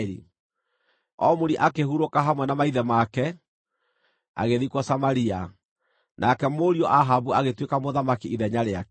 Omuri akĩhurũka hamwe na maithe make, agĩthikwo Samaria. Nake mũriũ Ahabu agĩtuĩka mũthamaki ithenya rĩake.